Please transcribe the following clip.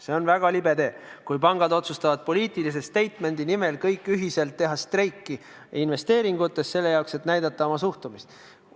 See on väga libe tee, kui pangad otsustavad poliitilise statement'i nimel kõik ühiselt teha investeeringutes streigi, et näidata oma suhtumist.